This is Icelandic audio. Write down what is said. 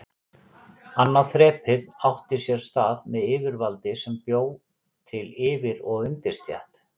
Annað þrepið átti sér stað með yfirvaldi sem bjó til yfir- og undirstétt.